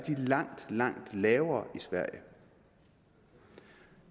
langt langt lavere i sverige